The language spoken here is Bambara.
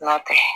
N'a tɛ